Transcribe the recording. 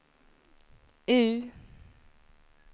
U